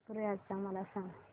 पंढरपूर यात्रा मला सांग